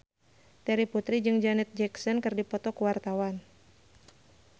Terry Putri jeung Janet Jackson keur dipoto ku wartawan